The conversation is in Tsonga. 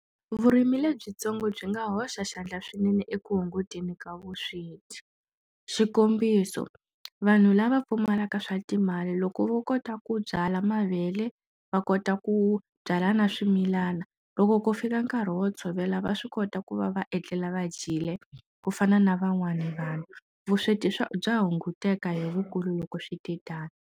Vurimi lebyitsongo byi nga hoxa xandla swinene eku hunguteni ka vusweti xikombiso vanhu lava pfumalaka swa timali loko vo kota ku byala mavele vakota ku byala na swimilana loko ko fika nkarhi wo tshovela va swi kota ku va va etlela va dyile kufana na van'wana vanhu vusweti swa bya hunguteka hi vukulu loko switetano.